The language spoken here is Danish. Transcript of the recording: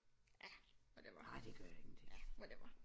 Ja whatever ja whatever